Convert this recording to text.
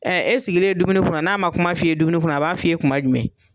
e sigilen dumuni kunna n'a ma kuma f'i ye dumuni kunna a b'a f'i ye kuma jumɛn?